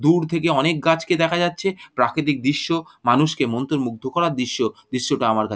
দূর থেকে অনেক গাছকে দেখা যাচ্ছে প্রাকৃতিক দৃশ্য মানুষকে মন্ত্রমুদ্ধ করার দৃশ্য দৃশ্যটা আমার কা--